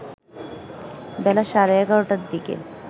বেলা সাড়ে ১১টার দিকে